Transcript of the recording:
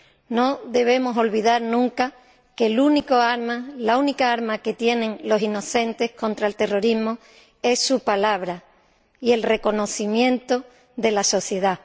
No debemos olvidar nunca que la única arma que tienen los inocentes contra el terrorismo es su palabra y el reconocimiento de la sociedad.